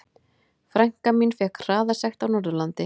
Frænka mín fékk hraðasekt á Norðurlandi.